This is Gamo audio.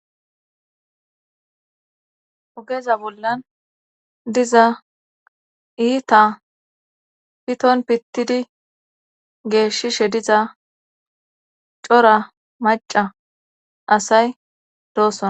Ogeza bollan diza iita piton pittidi geeshishe diza cora macca asay dosona.